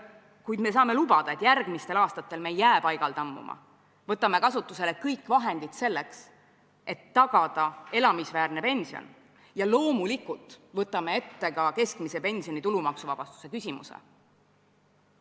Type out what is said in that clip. Kuid me saame lubada, et järgmistel aastatel ei jää me paigale tammuma, vaid võtame kasutusele kõik vahendid, selleks et tagada elamisväärne pension, ja loomulikult võtame ette ka keskmise pensioni tulumaksuvabastuse küsimuse.